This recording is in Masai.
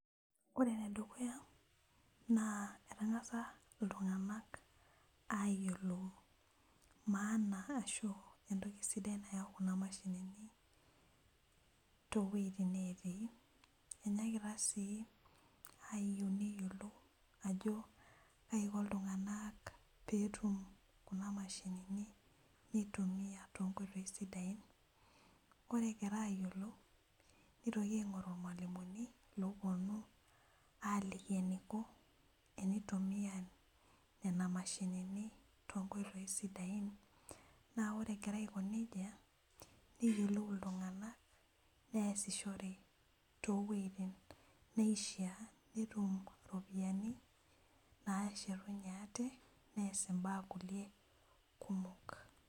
ore ene dukuya naa etang'asa itung'anak aayiolou entoki sidai nayau kuna mashinini , tooweitin netii enyaakita ayieu neyiolou ajo kaiko iltung'anak pee etum kuna mashinini nitumiya too ngoitoi sidain ore egira aiyiolou nitoki aing'oru ilmalimuni , oopounu aaliki eniko enitumiya nena mashinini toonkoitoi sidain naa ore egira aiko nejia , neyiolou iltung'anak neesishore too weitin neeeishaa pee etum iropiyiani naaashetunye ate nees baa kulie kumok.